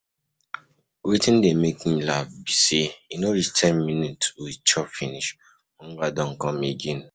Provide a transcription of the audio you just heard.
Wetin dey make me laugh be say e no reach ten minutes we chop finish, hunger don come again.